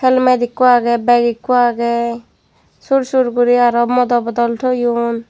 helmet ekko agey bag ekko agey sur sur guri aro modo bodol toyon.